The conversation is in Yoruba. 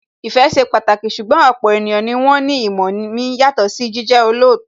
Ìfẹ́ ṣe pàtàkì, ṣùgbọ́n ọ̀pọ̀ ènìyàn ni wón ní ìmọ̀ mi yàtọ̀ sí jíjẹ́ olóòótọ́